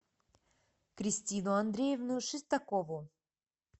кристину андреевну шестакову